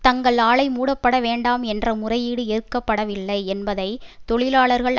தங்கள் ஆலை மூடப்பட வேண்டாம் என்ற முறையீடு ஏற்கப்படவில்லை என்பதை தொழிலாளர்கள்